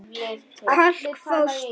Kalk Fosfór